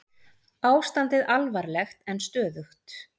Ég sá að það alveg þyrmdi yfir Hrafn, sem sat fyrir aftan